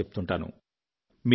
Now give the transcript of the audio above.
తప్పకుండా చెప్తుంటాను